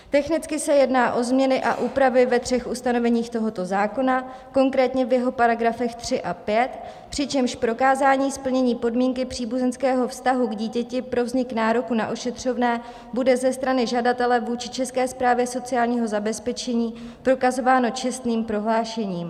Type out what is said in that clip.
Technicky se jedná o změny a úpravy ve třech ustanoveních tohoto zákona, konkrétně v jeho paragrafech 3 a 5, přičemž prokázání splnění podmínky příbuzenského vztahu k dítěti pro vznik nároku na ošetřovné bude ze strany žadatele vůči České správě sociálního zabezpečení prokazováno čestným prohlášením.